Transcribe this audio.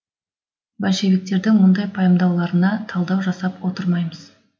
большевиктердің мұндай пайымдауларына талдау жасап отырмаймыз